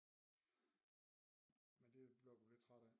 Men det blev du lidt træt af